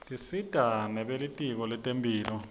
tisita nebelitko lentemphilo